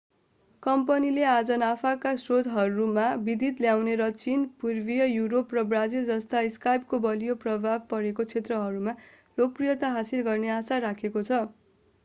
कम्पनीले आफ्ना नाफाका स्रोतहरूमा विविधता ल्याउने र चीन पूर्वी युरोप र ब्राजिल जस्ता स्काइपको बलियो प्रभाव परेका क्षेत्रहरूमा लोकप्रियता हासिल गर्ने आशा राखेको छ